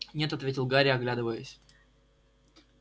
нет ответил гарри оглядываясь